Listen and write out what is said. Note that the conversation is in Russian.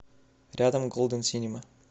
рядом голден синема